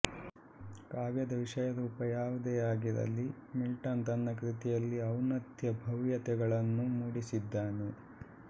ಕಾವ್ಯದ ವಿಷಯ ರೂಪ ಯಾವುದೇ ಆಗಿರಲಿ ಮಿಲ್ಟನ್ ತನ್ನ ಕೃತಿಯಲ್ಲಿ ಔನ್ನತ್ಯ ಭವ್ಯತೆಗಳನ್ನು ಮೂಡಿಸಿದ್ದಾನೆ